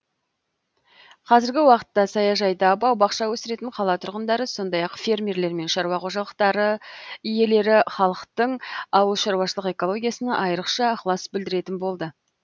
қазіргі уақытта саяжайда бау бақша өсіретін қала тұрғындары сондай ақ фермерлер мен шаруа қожалықтары иелері халықтың ауылшаруашылық экологиясына айрықша ықылас білдіретін болды